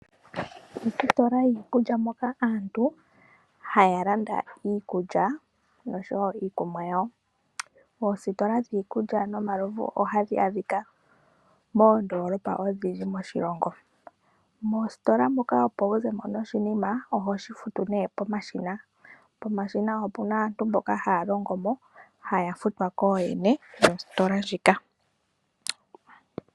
Ositola yiikulya moka aantu haya landa iikulya noshowo iikunwa yawo. Oositola dhiikulya nomalovu ohadhi adhika moondolopa odhindji moshilongo. Moositola muka opo wu ze mo noshinima, oho shi futu pomashina. Pomashina opu na aantu mboka haya longo mo, haya futwa kooyene yositola ndjika.